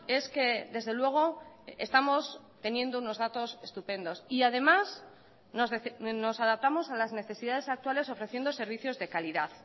es que desde luego estamos teniendo unos datos estupendos y además nos adaptamos a las necesidades actuales ofreciendo servicios de calidad